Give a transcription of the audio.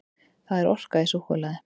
Það er orka í súkkulaði.